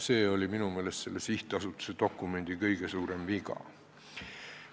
Siin oli minu meelest selle sihtasutuse dokumendi kõige suurem viga.